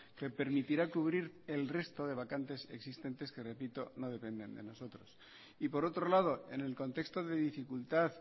que permitirá cubrir el resto de vacantes existentes que repito no dependen de nosotros y por otro lado en el contexto de dificultad